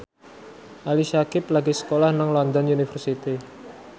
Ali Syakieb lagi sekolah nang London University